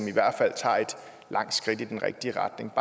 langt skridt i den rigtige retning